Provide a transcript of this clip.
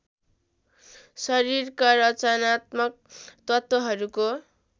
शरीरका रचनात्मक तत्त्वहरुको